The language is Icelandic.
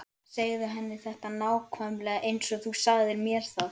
Segðu henni þetta nákvæmlega eins og þú sagðir mér það.